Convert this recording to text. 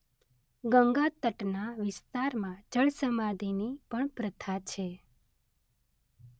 ગંગાતટના વિસ્તારમાં જળસમાધિની પણ પ્રથા છે.